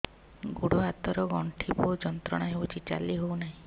ଗୋଡ଼ ହାତ ର ଗଣ୍ଠି ବହୁତ ଯନ୍ତ୍ରଣା ହଉଛି ଚାଲି ହଉନାହିଁ